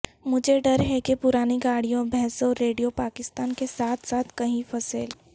مجھے ڈر ہے کہ پرانی گاڑیوں بھینسوں ریڈیو پاکستان کے ساتھ ساتھ کہیں فصیل